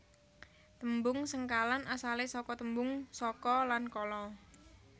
Tembung sengkalan asalé saka tembung saka lan kala